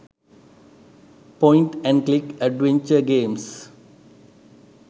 point and click adventure games